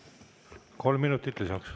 Kolm minutit lisaks.